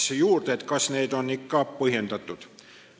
Teda huvitas, kas need muudatused on ikka põhjendatud.